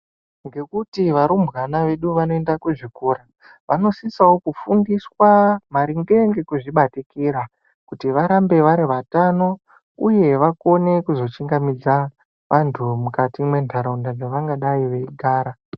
Ngekuti varumbwana vedu vanoenda kuzvikora vanosisawo kufundiswa maringe ngekuzvibatikira kuti varambe vari vatano uye vakone kuzochingamidza vandu mukati mwenharaunda dzavangadai veigara.